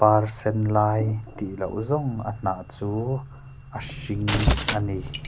par sen lai tih lo zawng a hnah chu a hring a ni.